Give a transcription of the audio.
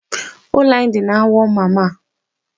Ụlọ anyị dị na Awọ Mmamma.